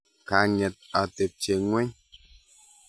Kang'et atebye ng'weny.